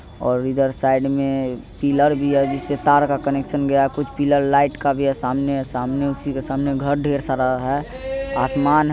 और इधर साईड में पिलर भी है जिससे तार का कनेक्शन गया हैं कुछ पिलर लाईट का भी हैं सामने उसी के सामने घर ढेर सारा हैंआसमान